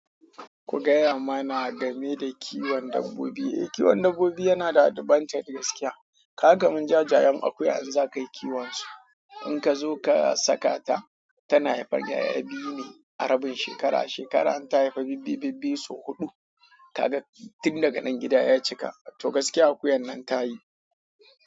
Ku gaya mana game da kiwon dabbobi. Eh, kiwon dabbobi yana da advantage gaskiya. Ka ga kaman jajayen akuya in za ka yi kiwon su. In ka zo ka saka ta tana haifan yara biyu ne a rabin shekara a shekara in ta haifa bibbiyu bibbiyu sau hudu ka ga tin daga nan gida ya cika, to gaskiya akuyan nan ta yi.